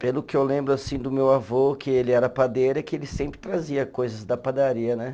Pelo que eu lembro, assim, do meu avô, que ele era padeiro, é que ele sempre trazia coisas da padaria, né?